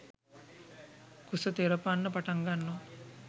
කුස තෙරපන්න පටන්ගන්නවා.